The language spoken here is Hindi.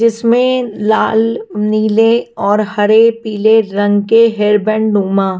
जिसमें लाल नीले और हरे पीले रंग के हेयरबैंड नुमा --